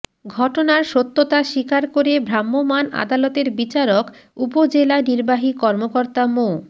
ঘটনার সত্যতা স্বীকার করে ভ্রাম্যমাণ আদালতের বিচারক উপজেলা নির্বাহী কর্মকর্তা মো